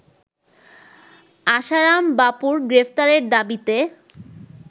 আশারাম বাপুর গ্রেফতারের দাবিতে